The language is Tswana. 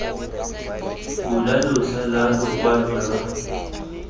bula letlha la lokwalo lwa